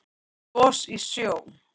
Gos í sjó